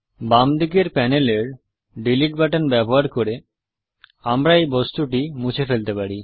বাম দিকের প্যানেলের ডিলিট বাটন ব্যবহার করে আমরা এই বস্তুটি মুছে ফেলতে পারি